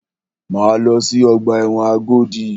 Máa lọ sí ọgbà ẹ̀wọ̀n Agodi.